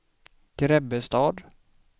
Grebbestad